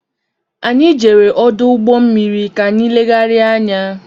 Anyị jere ọdụ ụgbọ mmiri ka anyị legharia anya.